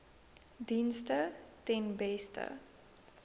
dienste ten beste